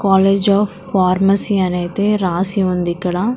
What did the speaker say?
college of pharmacy అని ఐతే రాసి ఉంది ఇక్కడ--